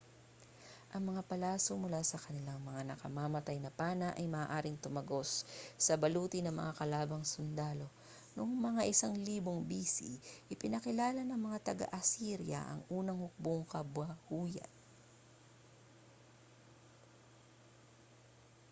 ang mga palaso mula sa kanilang mga nakamamatay na pana ay maaaring tumagos sa baluti ng mga kalabang sundalo noong mga 1000 b.c. ipinakilala ng mga taga-assyria ang unang hukbong-kabayuhan